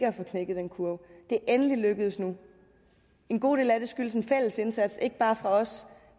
at få knækket den kurve det er endelig lykkedes nu en god del af det skyldes en fælles indsats ikke bare fra vores